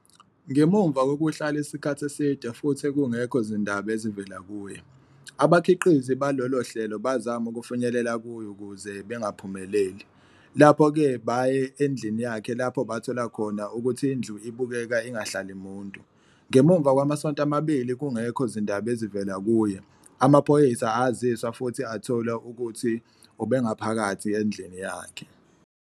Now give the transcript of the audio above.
Ngemuva kokuhlala isikhathi eside futhi kungekho zindaba ezivela kuye, abakhiqizi balolo hlelo bazama ukufinyelela kuye ukuze bangaphumeleli, lapho-ke baye endlini yakhe lapho bathola khona ukuthi indlu ibukeka ingahlali muntu. Ngemuva kwamasonto amabili kungekho zindaba ezivela kuye, amaphoyisa aziswa futhi athola ukuthi ubengaphakathi endlini yakhe.